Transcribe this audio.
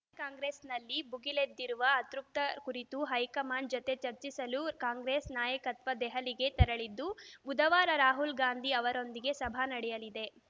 ಕಾಂಗ್ರೆಸ್‌ನಲ್ಲಿ ಬುಗಿಲೆದ್ದಿರುವ ಅತೃಪ್ತಿ ಕುರಿತು ಹೈಕಮಾಂಡ್‌ ಜತೆ ಚರ್ಚಿಸಲು ಕಾಂಗ್ರೆಸ್‌ ನಾಯಕತ್ವ ದೆಹಲಿಗೆ ತೆರಳಿದ್ದು ಬುಧವಾರ ರಾಹುಲ್‌ ಗಾಂಧಿ ಅವರೊಂದಿಗೆ ಸಭೆ ನಡೆಯಲಿದೆ